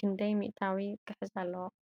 ክንዳይ ሚታዊ ክሕዝ ኣለዎ?